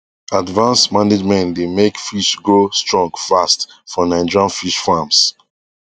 advance management dey make fish grow strong fast for nigerian fish farms